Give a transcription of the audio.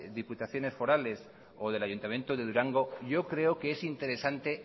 diputaciones forales o del ayuntamiento de durango yo creo que es interesante